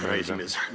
Aitäh, härra esimees!